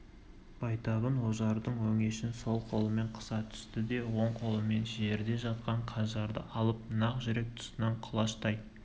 байтабын ожардың өңешін сол қолымен қыса түсті де оң қолымен жерде жатқан қанжарды алып нақ жүрек тұсынан құлаштай